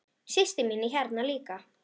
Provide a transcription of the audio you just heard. Systir mín er hérna líka.